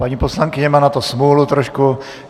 Paní poslankyně má na to smůlu trošku.